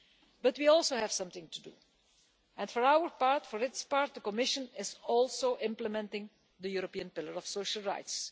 But we also have something to do, and for its part the Commission is also implementing the European Pillar of Social Rights.